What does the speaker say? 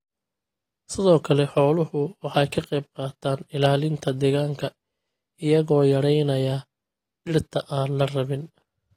Sidoo kale xooluhu waxay ka qayb qaataan ilaalinta deegaanka iyagoo yaraynaya dhirta aan la rabin.